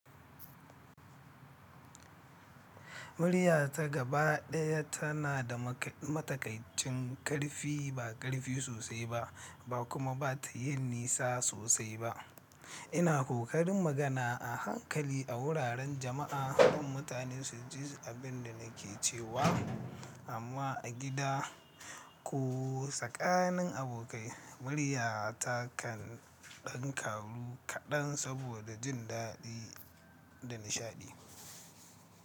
Murya ta gabaɗaya tana da matakaicin ƙarfi, ba ƙarfi sosai ba, ba kuma ba ta yin nisa sosai ba. Ina ƙoƙarin magana a hankali a wuraren jama'a don mutane su ji abin da nake cewa, amma a gida ko tsakanin abokai, murya ta kan ɗan kawu kaɗan saboda jin daɗi da nishaɗi.